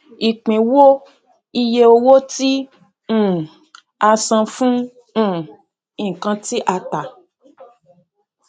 ìpín wo iye owó tí um a san fún um nkan tí a tà